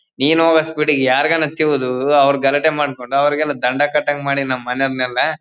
ನೀನೊಗೋ speed ಗೆ ಯಾರ್ಗಾನಾದ್ರು ತಿವಿದು ಅವರು ಗಲಾಟೆ ಮಾಡಿಕೊಂಡು ಅವರಿಗೆಲ್ಲ ದಂಡ ಕಟ್ಟಂಗೇ ಮಾಡಿ ನಮ್ಮ್ ಮನೆಯವರೆಲ್ಲ--